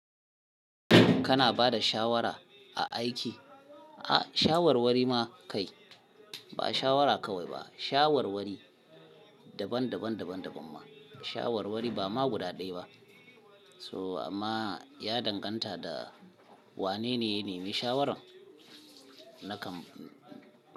Kana ba da shawara a aiki? A'a shawarwari ma kai ba shawara kawai ba shawarwari daban daban ma shawarwari ba ma guda ɗaya ba. So amma ya danganta da wane ne ya nemi shawaran nakan.